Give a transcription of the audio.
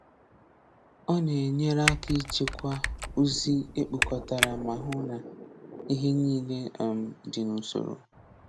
Ọ na-enyere aka ịchekwa ozi ekpokọtara ma hụ na ihe niile um dị n'usoro.